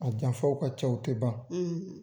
A janfaw ka ca o tɛ ban.